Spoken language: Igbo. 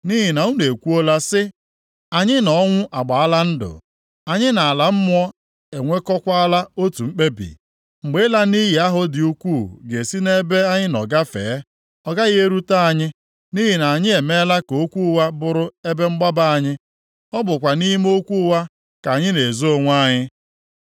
Nʼihi na unu ekwuola sị, “Anyị na ọnwụ agbaala ndụ, anyị na ala mmụọ enwekọọkwala otu mkpebi. Mgbe ịla nʼiyi ahụ dị ukwuu ga-esi nʼebe anyị nọ gafee, ọ gaghị erute anyị, nʼihi na anyị emeela ka okwu ụgha bụrụ ebe mgbaba anyị; ọ bụkwa nʼime okwu ụgha ka anyị na-ezo onwe anyị.”